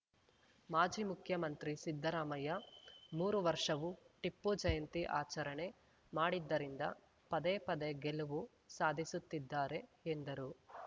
ಮಾಜಿ ಮುಖ್ಯಮಂತ್ರಿ ಸಿದ್ದರಾಮಯ್ಯ ಮೂರು ವರ್ಷವೂ ಟಿಪ್ಪು ಜಯಂತಿ ಆಚರಣೆ ಮಾಡಿದ್ದರಿಂದ ಪದೇ ಪದೇ ಗೆಲುವು ಸಾಧಿಸುತ್ತಿದ್ದಾರೆ ಎಂದರು